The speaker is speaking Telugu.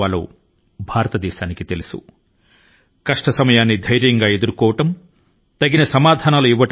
కళ్ల లోకి కళ్లు పెట్టి చూడడం ఇంకా తగ్గ జవాబు ఇవ్వడం కూడా భారతదేశాని కి తెలుసును